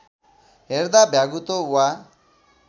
हेर्दा भ्यागुतो वा